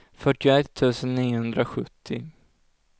fyrtioett tusen niohundrasjuttio